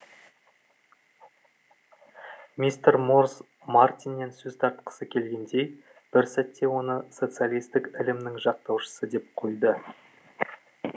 мистер морз мартиннен сөз тартқысы келгендей бір сәтте оны социалистік ілімнің жақтаушысы деп қойды